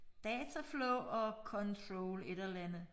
Dataflow og control et eller andet